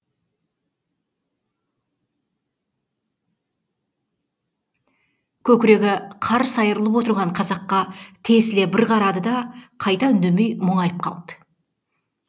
көкірегі қарс айрылып отырған қазаққа тесіле бір қарады да қайта үндемей мұңайып қалды